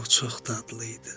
O çox dadlı idi.